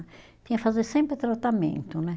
Tinha fazer sempre tratamento, né?